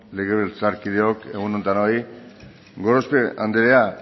legebiltzarkideok egun on denoi gorospe andrea